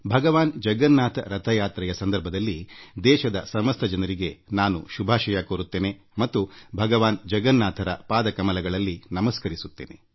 ಭಗವಾನ್ ಜಗನ್ನಾಥನ ಕಾರ್ ಹಬ್ಬದ ರಥಯಾತ್ರೆಯ ಸಂದರ್ಭದಲ್ಲಿ ನಾನು ದೇಶದ ಸಮಸ್ತ ಜನರಿಗೆ ಶುಭ ಕೋರುತ್ತೇನೆ ಮತ್ತು ಭಗವಾನ್ ಜಗನ್ನಾಥನಿಗೆ ಪ್ರಾರ್ಥನೆ ಸಲ್ಲಿಸುತ್ತೇನೆ